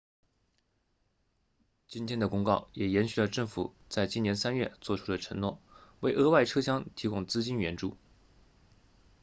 今天的公告也延续了政府在今年3月作出的承诺为额外车厢提供资金援助